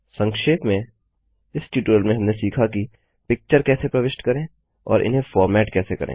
संक्षेप में इस ट्यूटोरियल में हमने सीखा कि पिक्चर कैसे प्रविष्ट करें और इन्हें फॉर्मेट कैसे करें